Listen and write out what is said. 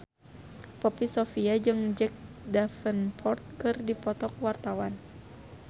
Poppy Sovia jeung Jack Davenport keur dipoto ku wartawan